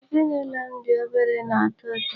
Ezinụlọ m dị obere na-atọ ụtọ.